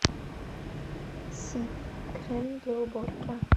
сиф крем для уборки